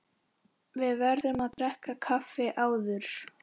Við verðum að drekka kaffi áður.